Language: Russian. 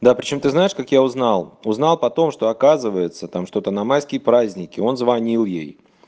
да причём ты знаешь как я узнал узнал потом что оказывается там что-то на майские праздники он звонил ей